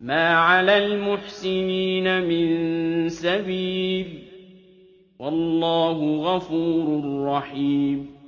مَا عَلَى الْمُحْسِنِينَ مِن سَبِيلٍ ۚ وَاللَّهُ غَفُورٌ رَّحِيمٌ